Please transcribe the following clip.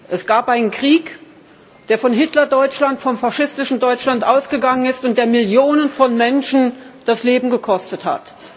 Es gab einen Krieg, der von Hitler Deutschland, vom faschistischen Deutschland ausgegangen ist und der Millionen von Menschen das Leben gekostet hat.